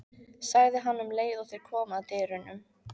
sagði hann um leið og þeir komu að dyrunum.